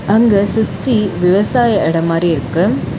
அங்க சுத்தி விவசாய எடம் மாரி இருக்கு.